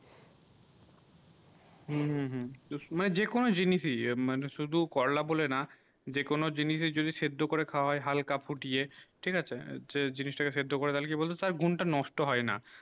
হম হম হম ও সময়ে যে কোনো জিনিস ই মানে শুধু করলা বলে না যে কোনো জিনিস যদি সেদ্ধ করে খাবারে হালকা ফুটিয়ে ঠিক আছে যে জিনিস তা তাকে সেদ্ধ করে তালে কি তার গুন টা নষ্ট হয়ে না